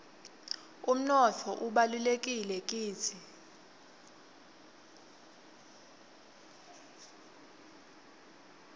umnotfo ubalulekile kitsi